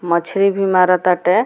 मछली भी मारत अटे।